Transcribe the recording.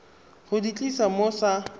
go di tlisa mo sa